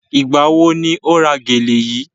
Ìgbà wo ni o ra gèlè yíí?